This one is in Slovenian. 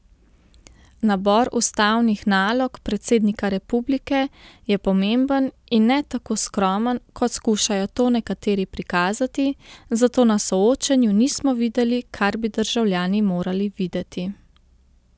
Nabor ustavnih nalog predsednika republike je pomemben in ne tako skromen, kot skušajo to nekateri prikazati, zato na soočenju nismo videli, kar bi državljani morali videti.